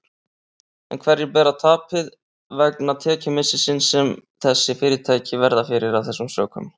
En hverjir bera tapið vegna tekjumissisins sem þessi fyrirtæki verða fyrir af þessum sökum?